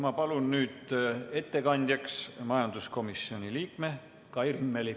Ma palun nüüd ettekandjaks majanduskomisjoni liikme Kai Rimmeli!